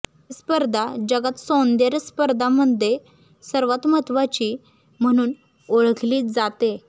ही स्पर्धा जगात सौंदर्य स्पर्धांमध्ये सर्वांत महत्त्वाची म्हणून ओळखली जाते